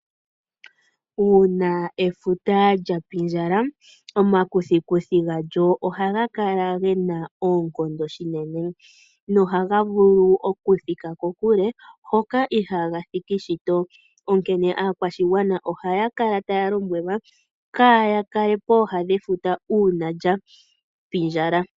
Uuna efuta lya pindjala, omakuthikuthi galyo ohaga kala ge na oonkondo unene nohaga vulu okuthika kokule hoka ihaaga thiki shito, onkene aakwashigwana ohaya kala taya lombwelwa kaaya kale pooha dhefuta uuna lya pindjala.